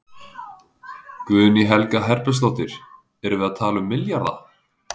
Guðný Helga Herbertsdóttir: Erum við að tala um milljarða?